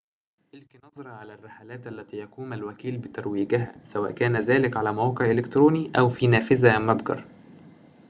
ألقِ نظرة على الرحلات التي يقوم الوكيل بترويجها سواءً كان ذلك على موقع إلكتروني أو في نافذة متجر